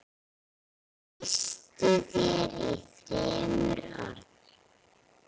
Lýstu þér í þremur orðum.